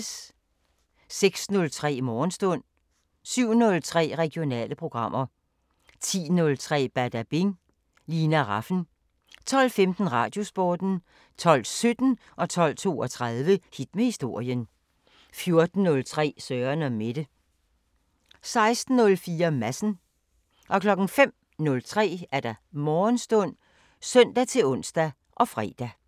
06:03: Morgenstund 07:03: Regionale programmer 10:03: Badabing: Lina Rafn 12:15: Radiosporten 12:17: Hit med historien 12:32: Hit med historien 14:03: Søren & Mette 16:04: Madsen 05:03: Morgenstund (søn-ons og fre)